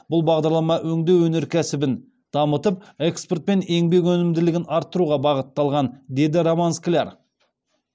бұл бағдарлама өңдеу өнеркәсібін дамытып экспорт пен еңбек өнімділігін арттыруға бағытталған деді роман скляр